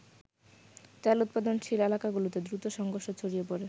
তেল উৎপাদনশীল এলাকাগুলোতে দ্রুত সংঘর্ষ ছড়িয়ে পরে।